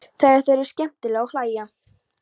Þegar þau eru skemmtileg og hlæja.